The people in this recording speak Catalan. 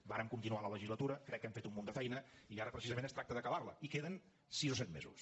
vàrem continuar la legislatura crec que hem fet un munt de feina i ara precisament es tracta d’acabar la i queden sis o set mesos